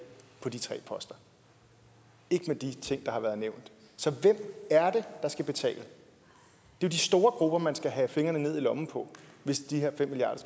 på de tre poster ikke med de ting der har været nævnt så hvem er det der skal betale det er de store grupper man skal have fingrene ned i lommen på hvis de her fem milliard